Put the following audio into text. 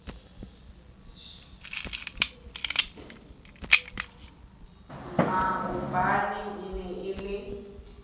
maobane e ne e le